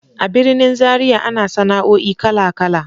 A birnin Zariya ana sana'o'i kala-kala.